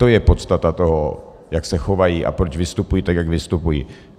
To je podstata toho, jak se chovají a proč vystupují tak, jak vystupují.